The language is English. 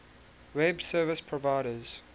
web service providers